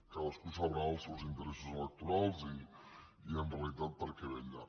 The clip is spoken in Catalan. cadascú deu saber els seus interessos electorals i en realitat per què vetlla